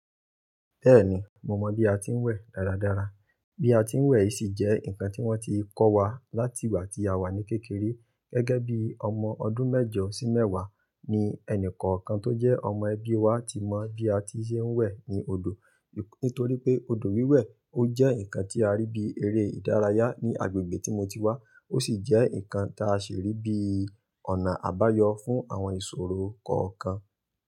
Bẹ́ẹ̀ni, mo mọ bí a ti ń wẹ̀ dáradára. Bí a ti ń wẹ̀ sì jẹ́ ǹkan tí wọ́n ti kọ́ wa láti ìgbà tí a wà ní kékeré. Gẹ́gẹ́ bí ọmọ ọdún mẹ́jọ sí mẹ́wàá ni ẹni kọ̀ọ̀kan tó jẹ́ ọmọ ẹbí wa ti mọ bí a ti ṣe ń wẹ̀ ní odò. Nítorí pé odò wíwẹ̀ ò jẹ́ ǹkan tí a rí bí eré ìdárayá ní agbègbè tí mo ti wá, ó sì jẹ́ ǹkan tá ṣè rí bí ọ̀nà àbáyọ fún àwọn ìṣòro kọ̀ọ̀kan.